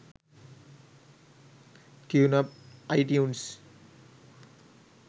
tuneup itunes